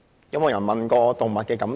有沒有人過問動物的感受呢？